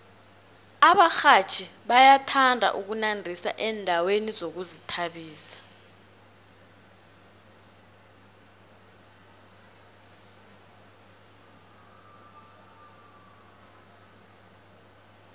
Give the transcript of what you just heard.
abarhatjhi bayathanda ukunandisa endaweni zokuzithabisa